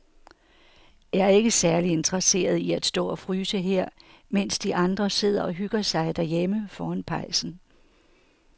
Jeg er ikke særlig interesseret i at stå og fryse her, mens de andre sidder og hygger sig derhjemme foran pejsen.